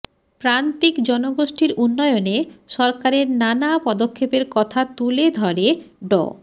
প্রান্তিক জনগোষ্ঠীর উন্নয়নে সরকারের নানা পদক্ষেপের কথা তুলে ধরে ড